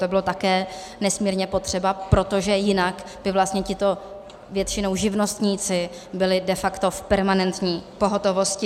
To bylo také nesmírně potřeba, protože jinak by vlastně tito většinou živnostníci byli de facto v permanentní pohotovosti.